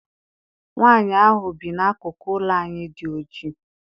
Nwaanyi ahụ bi n'akụkụ ụlọ anyị dị oji.